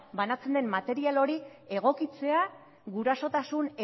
banatzen den material hori egokitzea gurasotasun